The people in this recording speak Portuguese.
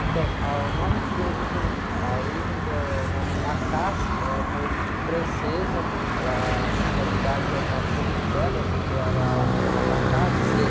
Então, ah, o nome de origem, a origem do nome é uma origem francesa, ela na realidade é uma corruptela, porque ela chama.